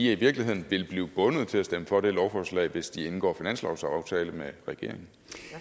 i virkeligheden vil blive bundet til at stemme for det lovforslag hvis de indgår finanslovsaftale med regeringen